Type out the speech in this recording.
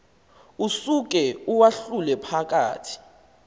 usuke uwahlule phakathi